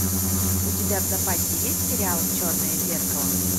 у тебя в запасе есть сериал черное зеркало